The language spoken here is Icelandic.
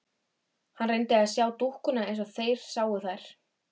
Hann reyndi að sjá dúkkuna eins og þeir sáu þær.